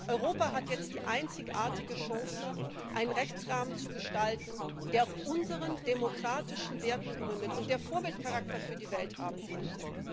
Europa hat jetzt die einzigartige Chance, einen Rechtsrahmen zu gestalten, der auf unseren demokratischen Werten gründet und der Vorbildcharakter für die Welt haben könnte.